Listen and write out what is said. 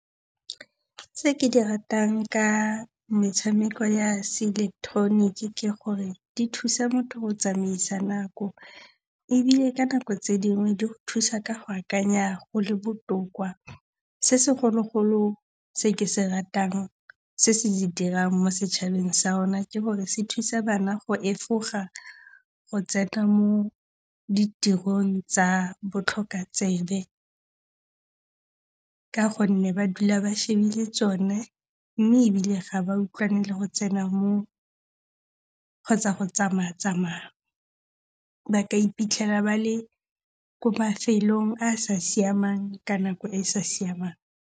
Tse ke di ratang ka metshameko ya seileketeroniki ke gore di thusa motho go tsamaisa nako. Ebile ka nako tse dingwe, di go thusa ka go akanya go le botoka. Se segolo-golo se ke se ratang se se di dirang mo setšhabeng sa rona ke gore se thusa bana go efoga go tsena mo ditirong tsa botlhoka tsebe ka gonne ba dula ba shebile tsone mme ebile ga ba utlwane le go tsena mo tsa go tsamaa-tsamaa. Ba iphitlhela ba le ko mafelong a a sa siamang ka nako e e sa siamang.